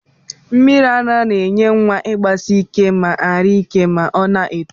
Mmiri ara na enye igbasike ma ari ike ma ọna eto